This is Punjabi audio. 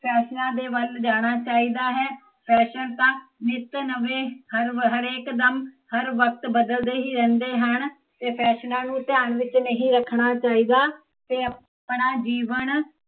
ਫੈਸ਼ਨਾ ਦੇ ਵੱਲ ਜਾਣਾ ਚਾਹੀਦਾ ਹੈ ਫੈਸ਼ਨ ਤਾਂ ਨਿੱਤ ਨਵੇ ਹਰਵ ਹਰੇ ਹਰੇਕ ਦਮ, ਹਰ ਵਕਤ ਬਦਲਦੇ ਹੀਂ ਰਹਿੰਦੇ ਹਨ ਤੇ ਫੈਸ਼ਨਾ ਨੂੰ ਧਿਆਨ ਵਿੱਚ ਨਹੀਂ ਰੱਖਣਾ ਚਾਹੀਦਾ ਤੇ, ਆਪਣਾ ਜੀਵਨ